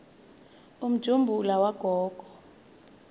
umjumbula wagogo